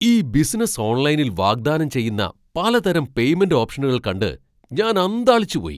ഈ ബിസിനസ്സ് ഓൺലൈനിൽ വാഗ്ദാനം ചെയ്യുന്ന പലതരം പേയ്മെന്റ് ഓപ്ഷനുകൾ കണ്ട് ഞാൻ അന്ധാളിച്ചു പോയി.